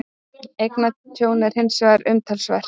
Eignatjónið er hins vegar umtalsvert